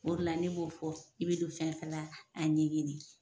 O dela ne b'o de fɔ i be don fɛnfɛn la a ɲɛɲini